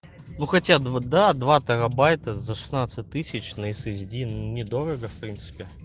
ну хотя два да два теробайта за шестнадцать тысяч на ссди недорого в принципе